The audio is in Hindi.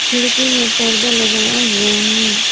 खिड़की में परदा लगाया हुआ है।